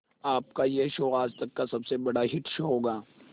आपका यह शो आज तक का सबसे बड़ा हिट शो होगा